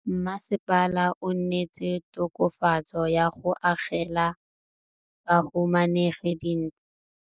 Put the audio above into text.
Mmasepala o neetse tokafatsô ka go agela bahumanegi dintlo.